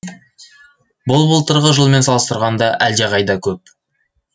бұл былтырғы жылмен салыстырғанда әлдеқайда көп